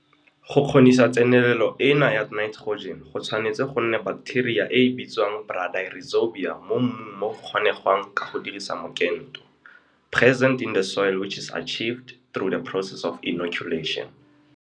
Go kgonisa tsenelelo ena ya naiterojene go tshwanetse go nne baketeria e e bitswang bradyrhizobia mo mmung mo go kgonegwang ka go dirisa mokento. Present in the soil which is achieved through the process of inoculation.